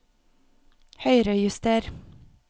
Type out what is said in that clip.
Høyrejuster